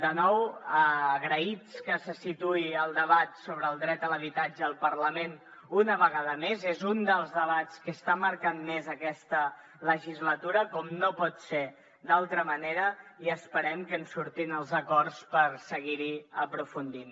de nou agraïts que se situï el debat sobre el dret a l’habitatge al parlament una vegada més és un dels debats que està marcant més aquesta legislatura com no pot ser d’altra manera i esperem que en surtin els acords per seguir hi aprofundint